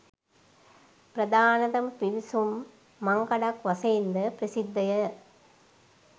ප්‍රධානතම පිවිසුම් මංකඩක් වශයෙන් ද ප්‍රසිද්ධ ය